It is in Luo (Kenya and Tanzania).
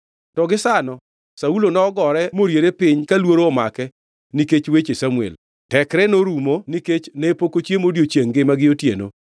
To gisano Saulo nogore moriere piny ka luoro omake nikech weche Samuel. Tekre norumo nikech ne pok ochiemo odiechiengʼ ngima gi otieno.